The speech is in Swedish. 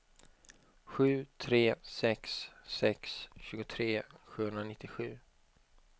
sju tre sex sex tjugotre sjuhundranittiosju